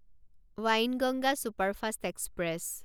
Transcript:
Wainganga superfast express